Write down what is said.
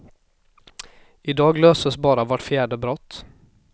I dag löses bara vart fjärde brott.